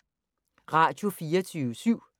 Radio24syv